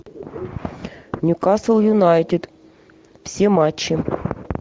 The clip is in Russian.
ньюкасл юнайтед все матчи